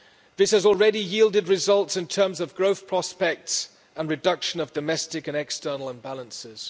This has already yielded results in terms of growth prospects and reduction of domestic and external imbalances.